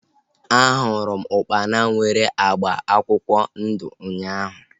A hụrụ m ukpana nwere agba akwụkwọ ndụ ụnyaahụ